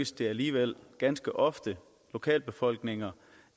det alligevel ganske ofte lokalbefolkninger